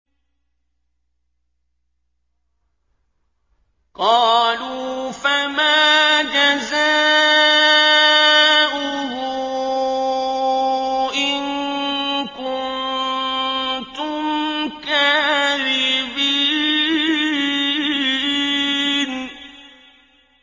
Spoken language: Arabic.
قَالُوا فَمَا جَزَاؤُهُ إِن كُنتُمْ كَاذِبِينَ